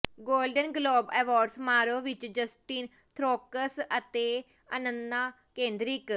golden Globe Award ਸਮਾਰੋਹ ਵਿੱਚ Justin Theroux ਅਤੇ ਅੰਨਾ ਕੇੰਦਰਿਕ